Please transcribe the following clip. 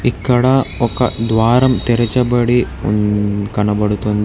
ఇక్కడ ఒక ద్వారం తెరచబడి ఉంధ్ కనబడుతుం --